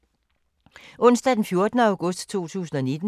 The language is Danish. Onsdag d. 14. august 2019